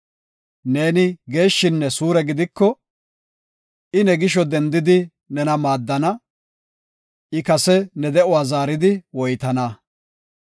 neeni geeshshinne suure gidiko, I ne gisho dendidi nena maaddana; I kase ne de7uwa zaaridi woytana.